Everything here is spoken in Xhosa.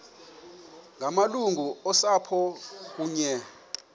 ngamalungu osapho kunye